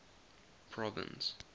province